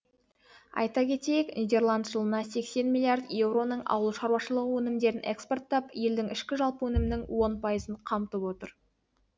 айта кетейік нидерланд жылына сексен миллиард еуроның ауыл шаруашылығы өнімдерін экспорттап елдің ішкі жалпы өнімінің он пайызын қамтып отыр